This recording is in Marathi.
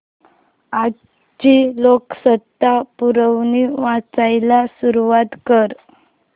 आजची लोकसत्ता पुरवणी वाचायला सुरुवात कर